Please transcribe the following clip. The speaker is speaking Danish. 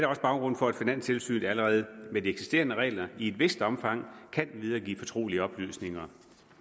også baggrunden for at finanstilsynet allerede med de eksisterende regler i et vist omfang kan videregive fortrolige oplysninger